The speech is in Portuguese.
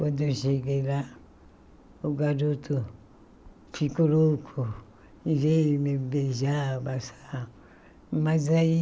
Quando eu cheguei lá, o garoto ficou louco e veio me beijar, abraçar, mas aí,